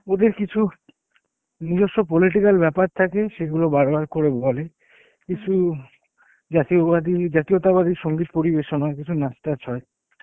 ওদের কিছু নিজস্ব political ব্যাপার থাকে সেগুলো বারবার করে বলে কিছু জাতীয়বাদী জাতীয়তাবাদী সংগীত পরিবেশন হয় কিছু নাচ টাচ হয়